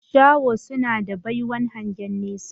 Shaho suna da baiwan hangen nesa